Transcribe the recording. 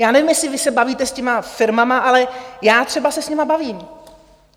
Já nevím, jestli vy se bavíte s těmi firmami, ale já třeba se s nimi bavím.